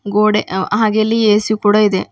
ಗೋಡೆ ಹಾ ಹಾಗೆ ಇಲ್ಲಿ ಎ_ಸಿ ಕೂಡ ಇದೆ.